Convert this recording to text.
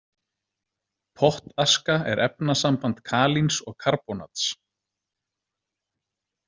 Pottaska er efnasamband Kalíns og karbónats.